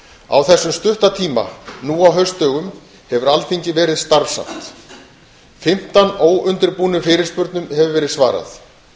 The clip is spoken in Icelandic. á þessum stutta tíma nú á haustdögum hefur alþingi verið starfsamt fimmtán óundirbúnum fyrirspurnum hefur verið svarað